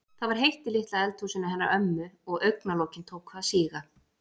Það var heitt í litla eldhúsinu hennar ömmu og augna- lokin tóku að síga.